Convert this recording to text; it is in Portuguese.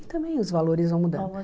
E também os valores vão mudando. Vão